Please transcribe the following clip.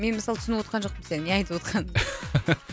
мен мысалы түсініп отқан жоқпын сенің не айтып отқаныңды